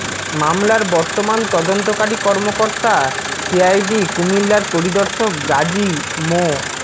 মামলার বর্তমান তদন্তকারী কর্মকর্তা সিআইডি কুমিল্লার পরিদর্শক গাজী মো